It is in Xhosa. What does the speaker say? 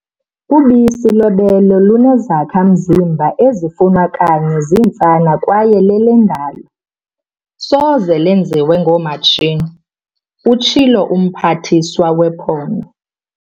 "Ubisi lwebele lunezakha-mzimba ezifunwa kanye zintsana kwaye lelendalo, soze lenziwe ngoomatshini," utshilo uMphathiswa wePhondo.